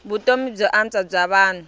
vutomi byo antswa bya vanhu